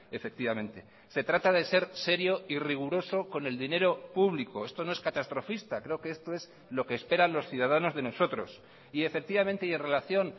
efectivamente se trata de ser serio y riguroso con el dinero público esto no es catastrofista creo que esto es lo que esperan los ciudadanos de nosotros y efectivamente y en relación